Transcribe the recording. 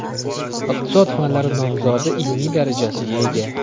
Iqtisod fanlari nomzodi ilmiy darajasiga ega.